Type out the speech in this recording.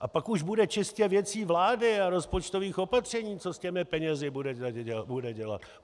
A pak už bude čistě věcí vlády a rozpočtových opatření, co s těmi penězi bude dělat.